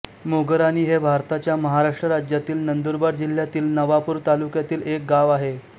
मोगराणी हे भारताच्या महाराष्ट्र राज्यातील नंदुरबार जिल्ह्यातील नवापूर तालुक्यातील एक गाव आहे